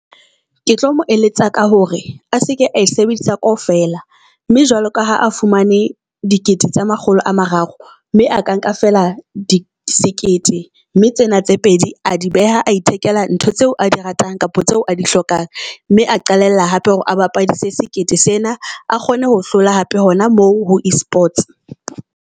Ke tlo mo eletsa ka hore a seke a sebedisa kaofela mme jwalo ka ha a fumane dikete tse makgolo a mararo, mme a ka nka feela di sekete. Mme tsena tse pedi a di beha, a ithekela ntho tseo a di ratang kapa tseo a di hlokang. Mme a qalella hape hore a bapadise sekete sena, a kgone ho hlola hape hona moo ho e-sports.